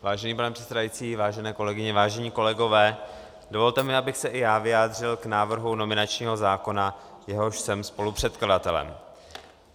Vážený pane předsedající, vážené kolegyně, vážení kolegové, dovolte mi, abych se i já vyjádřil k návrhu nominačního zákona, jehož jsem spolupředkladatelem.